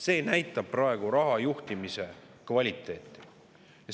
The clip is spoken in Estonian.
See näitab praegust raha juhtimise kvaliteeti.